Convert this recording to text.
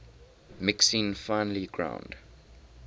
mixing finely ground